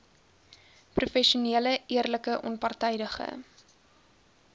professionele eerlike onpartydige